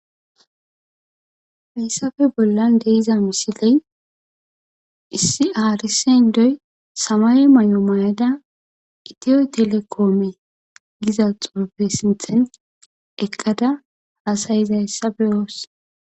Hayssafe bollan de'iza misiley issi haarisen doy samay mayo mayada itiyo telekoome giza xufe sinthen eqqada haasayizayssa beyoos